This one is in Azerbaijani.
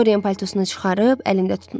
Doryen paltosunu çıxarıb əlində tutmuşdu.